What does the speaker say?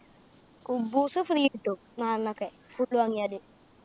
കുബ്ബൂസ് free കിട്ടും. നാലെണ്ണം ഒക്കെ full വാങ്ങിയാല്.